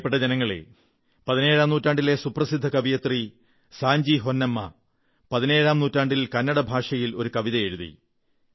പ്രിയപ്പെട്ട ജനങ്ങളേ പതിനേഴാം നൂറ്റാണ്ടിലെ സുപ്രസിദ്ധ കവയിത്രി സാഞ്ചി ഹൊന്നമ്മ പതിനേഴാം നൂറ്റാണ്ടിൽ കന്നഡ ഭാഷയിൽ ഒരു കവിത എഴുതി